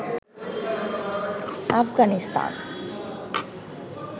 Afghanistan